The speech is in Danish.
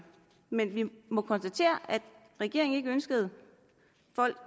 men vi må konstatere at regeringen ikke ønskede